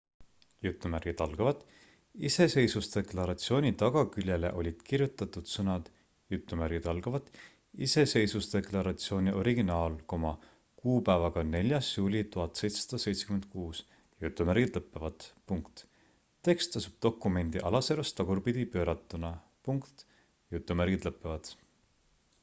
"iseseisvusdeklaratsiooni tagaküljele olid kirjutatud sõnad "iseseisvusdeklaratsiooni originaal kuupäevaga 4. juuli 1776"". tekst asub dokumendi alaservas tagurpidi pööratuna.